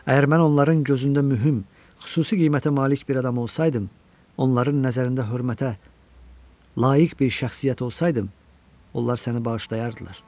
Əgər mən onların gözündə mühüm, xüsusi qiymətə malik bir adam olsaydım, onların nəzərində hörmətə layiq bir şəxsiyyət olsaydım, onlar səni bağışlayardılar.